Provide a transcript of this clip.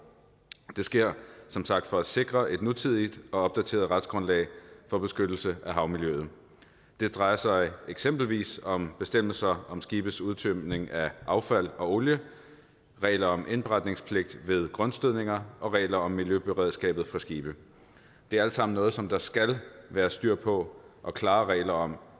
det sker som sagt for at sikre et nutidigt og opdateret retsgrundlag for beskyttelse af havmiljøet det drejer sig eksempelvis om bestemmelser om skibes udtømning af affald og olie regler om indberetningspligt ved grundstødninger og regler om miljøberedskabet på skibe det er alt sammen noget som der skal være styr på og klare regler om